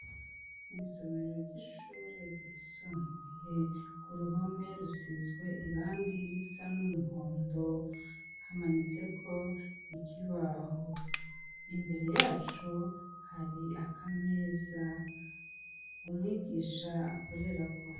Mwisomero ryishure ryisumbuye kuruhome rusizwe irangi risa numuhondo hamanitseko ikibaho imbere yaco hari akameza umwigisha akorerako